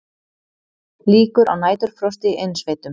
Líkur á næturfrosti í innsveitum